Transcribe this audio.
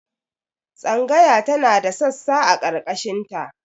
Tsangaya tana da sassa a ƙarkashin ta